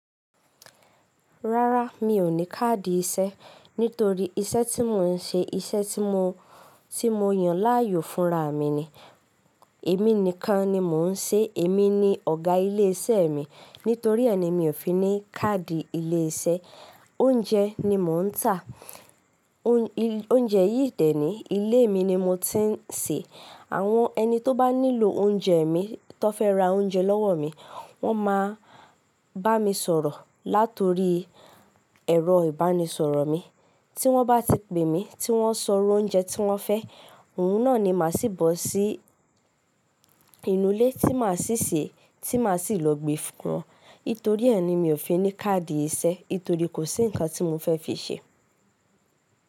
Rárá, mi ò ní káàdì iṣẹ́ nítorí iṣẹ́ tí mò ń ṣe iṣẹ́ tí mò yan láàyò fúnra mi ni. Èmi nìkan ni mò ń ṣe, èmi ni ọ̀gá ilé iṣẹ́ mi. Nítorí ànyìní mi ò fi ní káàdì ilé iṣẹ́. Oúnjẹ ni mò ń tà, oúnjẹ yìí dẹ̀ ní ilé mi ni mo ti ń sè. Àwọn ẹni tó bá nílò oúnjẹ mi tó fẹ́ ra oúnjẹ lọ́wọ́ mi, wọ́n máa bá mi sọ̀rọ̀ látori ẹ̀rọ ìbánisọ̀rọ̀ mi. Tí wọ́n bá ti pè mí, tí wọ́n sọ oúnjẹ tí wọ́n fẹ́, òun náà ni màá ṣì bọ́ sí inú ilé tí màá ṣì sè é tí màá ṣì lọ gbe fún wọn. Nítorí ànyìí ni mi ò fi ní káàdì iṣẹ́, nítorí kò sí nǹkan tí mò fẹ́ fi ṣe.